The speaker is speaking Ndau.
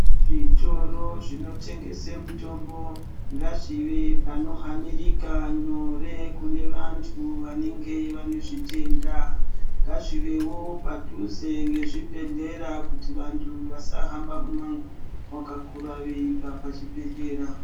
Zvitoro zvinotengese mitombo, ngazvive panohanirika nyore kune vantu vanenge vane zvitenda. Ngazvivewo padhuze ngezvibhehlera kuti vantu vasahamba mumango wakakura veibva pachibhehlera.